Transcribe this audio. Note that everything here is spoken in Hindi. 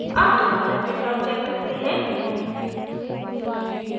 अब दोबारा git log check करते हैं